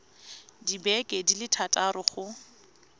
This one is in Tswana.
dibeke di le thataro go